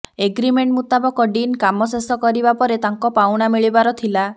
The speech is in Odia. ଏଗ୍ରିମେଣ୍ଟ ମୁତାବକ ଡିନ କାମ ଶେଷ କରିବା ପରେ ତାଙ୍କ ପାଉଣା ମିଳିବାର ଥିଲା